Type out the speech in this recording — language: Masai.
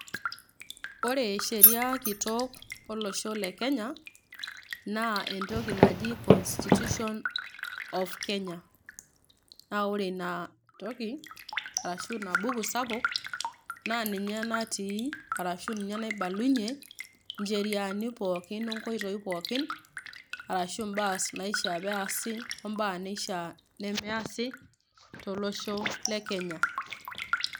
Ore sheriaa kitok olosho le Kenya naa entoki naji constitution of Kenya. Naa ore ina toki ashu ina buku sapuk naa ninye natii arashu ninye naibalunyie ncheriaani pookin onkoitoi pookin arashu imbaa naishiaa peasi ,ombaa neishiaa nemeashi tolosho le Kenya.